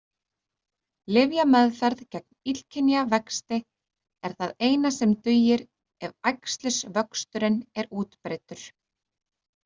Lyfjameðferð gegn illkynja vexti er það eina sem dugir ef æxlisvöxturinn er útbreiddur.